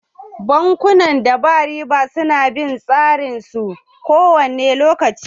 Bankunan da ba riba su na bin tsarorin su kowane lokaci